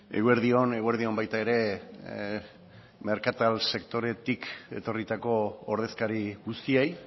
eguerdi on eguerdi on baita ere merkatal sektoretik etorritako ordezkari guztiei